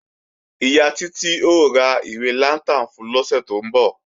Ìyá Títí ó ra ìwé lantern fun lọ́sẹ̀ tó ń bọ̀